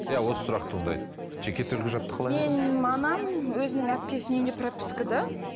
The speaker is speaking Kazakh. иә осы сұрақ туындайды жеке төлқұжатты менің анам өзінің әпкесінің үйінде пропискада